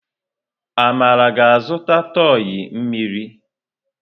Amara ga-azụta tọị mmiri.